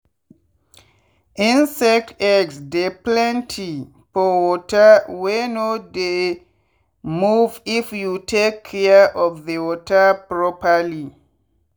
insect eggs dey plenty for water wey no dey moveif you take care of the water properly.